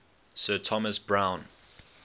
sir thomas browne